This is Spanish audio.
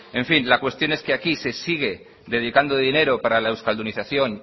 en fin la cuestión es que aquí se sigue dedicando dinero para la euskaldunización